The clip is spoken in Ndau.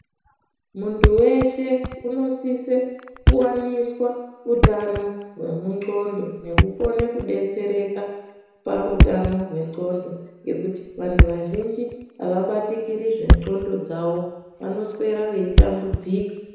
Muntu weshe unosise kuwaniswa utano hwemuxhondo nekukone kudetsereka pautano hwexhondo ngekuti vantu vazhinji avabatikiri zvexhondo dzawo vanoswera veitambudzika .